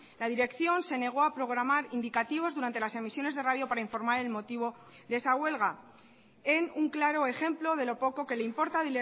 la dirección se negó a programar indicativos durante las emisiones de radio para informar el motivo de esa huelga en un claro ejemplo de lo poco que le importa a